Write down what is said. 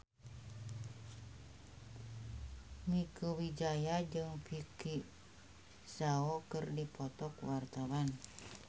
Mieke Wijaya jeung Vicki Zao keur dipoto ku wartawan